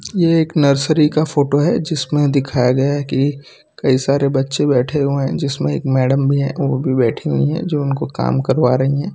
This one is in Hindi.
ये एक नर्सरी का फोटो है जिसमें दिखाया गया है कि कई सारे बच्चे बैठे हुए हैं जिसमें एक मैडम भी है वो भी बैठी हुई हैं जो उनकाे काम करवा रही हैं।